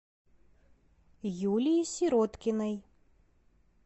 юлии сироткиной